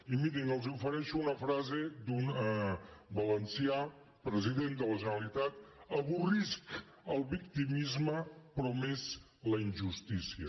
i mirin els ofereixo una frase d’un valencià president de la generalitat avorrisc el victimisme però més la injustícia